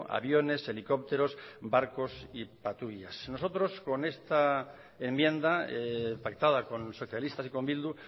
aviones helicópteros barcos y patrullas nosotros con esta enmienda pactada con los socialistas y con bildu